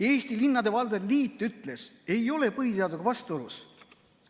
Eesti Linnade ja Valdade Liit ütles: ei ole põhiseadusega vastuolus.